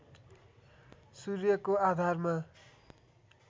सूर्यको आधारमा